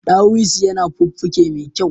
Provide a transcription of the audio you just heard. Dawisu yana fuffuke me kyau